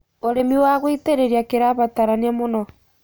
Ũrĩmĩ wa gũĩtĩrĩrĩa kĩrabataranĩa mũno